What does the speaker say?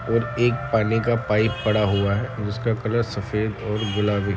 और एक पानी का पाइप पड़ा हुआ है जिसका कलर सफ़ेद और गुलाबी --